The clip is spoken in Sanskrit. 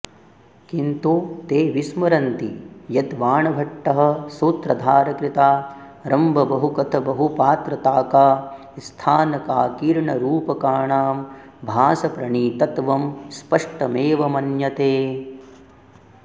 किन्तु ते विस्मरन्ति यद्वाणभट्टः सूत्रधारकृतारम्भबहुकथबहुपात्रताकास्थानकाकीर्णरूपकाणां भासप्रणीतत्वं स्पष्टमेव मन्यते